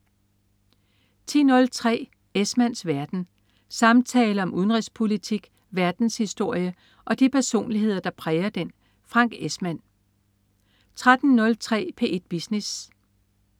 10.03 Esmanns verden. Samtaler om udenrigspolitik, verdenshistorie og de personligheder, der præger den. Frank Esmann 13.03 P1 Business